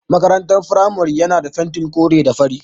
Makarantar firamare yana da fentin kore da fari.